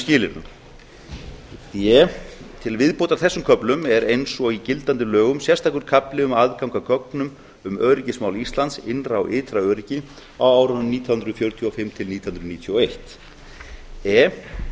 skilyrðum d til viðbótar þessum köflum er eins og í gildandi lögum sérstakur kafli um aðgang að gögnum um öryggismál íslands innra og ytra öryggi á árunum nítján hundruð fjörutíu og fimm til nítján hundruð níutíu og eitt e